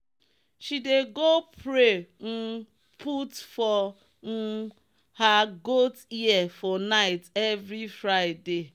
she dey go pray um put for um her goat ear for night every friday.